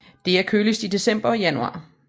Det er køligst i december og januar